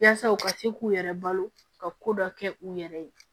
Yaasa u ka se k'u yɛrɛ balo ka ko dɔ kɛ u yɛrɛ ye